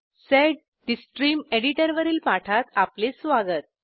sed the stream editor वरील पाठात आपले स्वागत